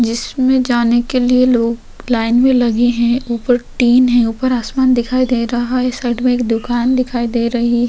जिसमें जाने के लिए लोग लाइन में लगे हैं। ऊपर टीन है। ऊपर आसमान दिखाई दे रहा है। साइड में एक दुकान दिखाई दे रही --